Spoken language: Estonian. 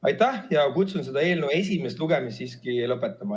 Aitäh ja kutsun eelnõu esimest lugemist siiski lõpetama.